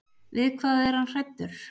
Við hvað var hann hræddur?